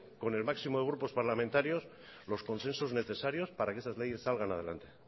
con el máximo grupos parlamentarios los conflictos necesarios para que esas leyes salgan adelante